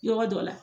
Yɔrɔ dɔ la